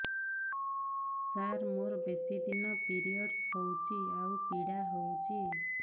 ସାର ମୋର ବେଶୀ ଦିନ ପିରୀଅଡ଼ସ ହଉଚି ଆଉ ପୀଡା ହଉଚି